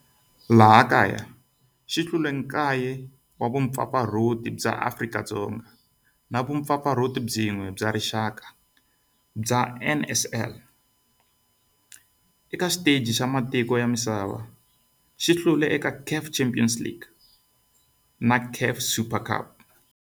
Eka laha kaya u hlule 9 wa vumpfampfarhuti bya Afrika-Dzonga na vumpfampfarhuti byin'we bya rixaka bya NSL. Eka xiteji xa matiko ya misava, u hlule eka CAF Champions League na CAF Super Cup.